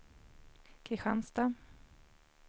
Kristianstad